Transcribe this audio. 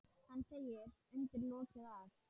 Hann segir undir lokin að